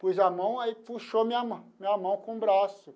Pus a mão, aí puxou a minha mão minha mão com o braço.